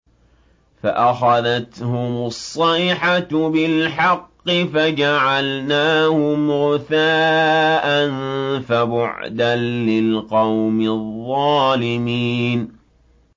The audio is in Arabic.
فَأَخَذَتْهُمُ الصَّيْحَةُ بِالْحَقِّ فَجَعَلْنَاهُمْ غُثَاءً ۚ فَبُعْدًا لِّلْقَوْمِ الظَّالِمِينَ